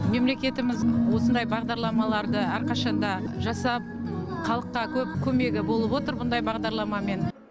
мемлекетіміз осындай бағдарламаларды әрқашанда жасап халыққа көп көмегі болып отыр бұндай бағдарламамен